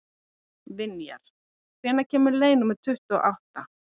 Vinjar, hvenær kemur leið númer tuttugu og átta?